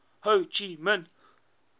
ho chi minh